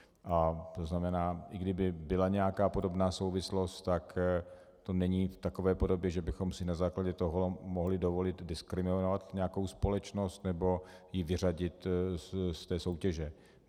A to znamená, i kdyby byla nějaká podobná souvislost, tak to není v takové podobě, že bychom si na základě toho mohli dovolit diskriminovat nějakou společnost nebo ji vyřadit z té soutěže.